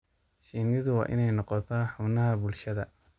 Shinnidu waa inay noqotaa xubnaha bulshada.